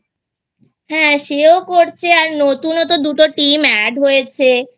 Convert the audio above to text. হ্যাঁ সেও করছে আর নতুনও তো দুটো Team ও Add হয়েছে